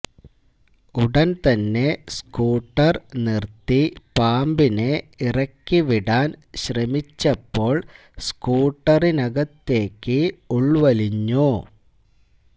ഉടൻ തന്നെ സ്കൂട്ടർ നിർത്തി പാമ്പിനെ ഇറക്കിവിടാന് ശ്രമിച്ചപ്പോള് സ്കൂട്ടറിനകത്തേക്ക് ഉള്വലിഞ്ഞു